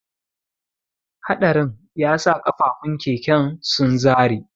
Haɗarin yasa kafafun keken sun zare.